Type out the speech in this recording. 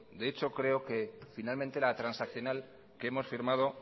de hecho creo que finalmente la transaccional que hemos firmado